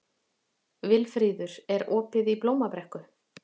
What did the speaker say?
Vilfríður, er opið í Blómabrekku?